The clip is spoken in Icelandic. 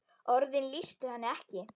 Orðin lýstu henni ekki.